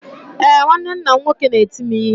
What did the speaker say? Ee, nwanne nna m nwoke na-eti m ihe.